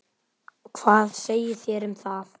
Hvað segið þér um það?